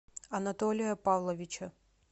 анатолия павловича